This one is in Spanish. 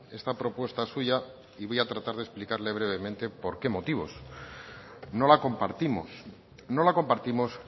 esta propuesta suya y voy a tratar de explicarle brevemente por qué motivos no la compartimos no la compartimos